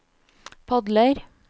padler